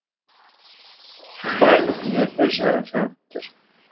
барлық үйлерде жарық жанып тұр